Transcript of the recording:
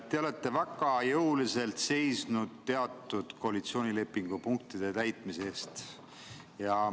Te olete väga jõuliselt seisnud teatud koalitsioonilepingu punktide täitmise eest.